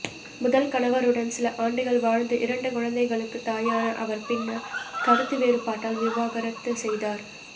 முதல் கணவருடன் சில ஆண்டுகள் வாழ்ந்து இரண்டு குழந்தைகளுக்கு தாயான அவர் பின்னர் கருத்து வேறுபாட்டால் விவாகரத்து செய்தார்